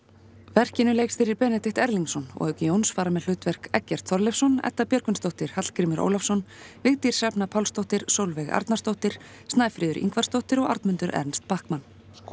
verkinu leikstýrir Benedikt Erlingsson og auk Jóns fara með hlutverk þau Eggert Þorleifsson Edda Björgvinsdóttir Hallgrímur Ólafsson Vigdís Hrefna Pálsdóttir Sólveig Arnarsdóttir Snæfríður Ingvarsdóttir og Arnmundur Ernst Bachmann